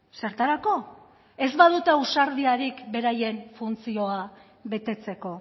zertarako ez badute ausardiarik beraien funtzioa betetzeko